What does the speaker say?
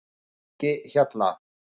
Engihjalla